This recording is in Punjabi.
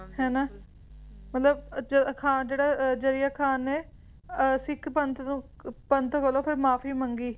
ਹੈ ਨਾ ਮਤਲਬ ਖ਼ਾਨ ਜਿਹੜਾ ਜਰੀਏ ਖ਼ਾਨ ਨੇ ਸਿੱਖ ਪੰਥ ਨੂੰ ਪੰਥ ਕੋਲੋਂ ਫੇਰ ਮੁਆਫੀ ਮੰਗੀ ਮੁਆਫੀ ਮੰਗੀ ਤੇ